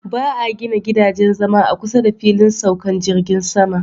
Ba 'a gina gidajen zama a kusa da filin saukan jirgin sama.